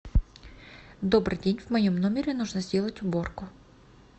добрый день в моем номере нужно сделать уборку